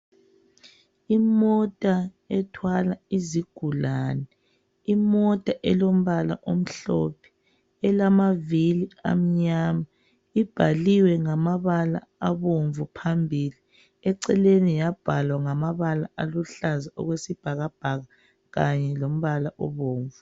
Imota ethwala izigulane. Imota elombala omhlophe. Ilamavili amnyama. Ibhaliwe ngamabala abomvu phambili eceleni yabhalwa ngamabala aluhlaza okwesibhakabhaka khanye lombala obomvu.